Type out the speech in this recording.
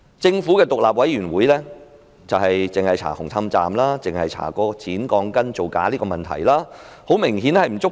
政府的獨立調查委員會只調查紅磡站剪鋼筋造假的問題，明顯並不足夠。